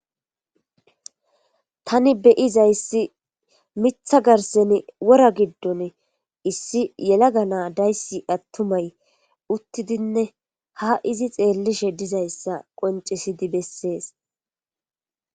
tani beyizaysi mitha garsen wora giddon issi yelaga naa dayssi attumay uttidinne ha izi xeellishe dizayssa qoncisidi bessees